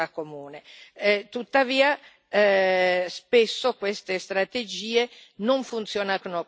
Tuttavia spesso queste strategie non funzionano come dovrebbero.